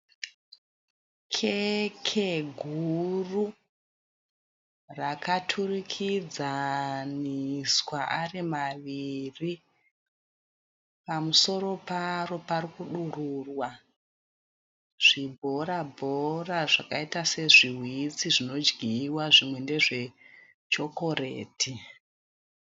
Keke guru rakaturikidzaniswa ari maviri pamusoro paro parikudururwa zvibhora bhora zvakaita sezviwitsi zvinodyiwa zvimwe ndezve chokoreti